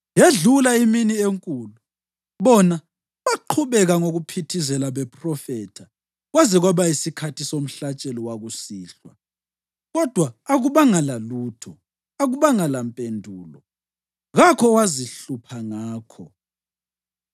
Yedlula imini enkulu, bona baqhubeka ngokuphithizela bephrofetha kwaze kwaba yisikhathi somhlatshelo wakusihlwa. Kodwa akubanga lalutho, akubanga lampendulo, kakho owazihlupha ngakho.